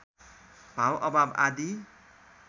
भाव अभाव आदि